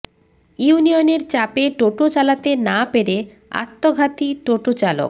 ইউনিয়নের চাপে টোটো চালাতে না পেরে আত্মঘাতী টোটো চালক